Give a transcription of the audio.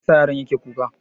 Me yasa yaron yake kuka?